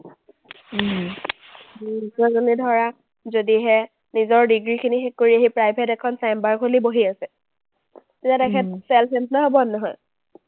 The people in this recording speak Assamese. doctor জনে ধৰা যদিহে নিজৰ ডিগ্ৰীখিনি শেষ কৰি আহি private এখন chamber খুলি বহি আছে। তেতিয়া তেখেত self employed হ’বনে নহয়?